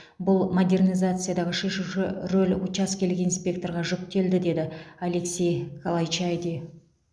бұл модернизациядағы шешуші рөл учаскелік инспекторға жүктелді деді алексей калайчайди